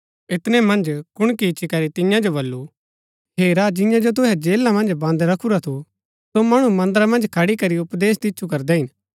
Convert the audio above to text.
ऐतनै मन्ज कुणकी इच्ची करी तियां जो बल्लू हेरा जिंआं जो तुहै जेला मन्ज बन्द रखुरा थू सो मणु मन्दरा मन्ज खडी करी उपदेश दिच्छु करदै हिन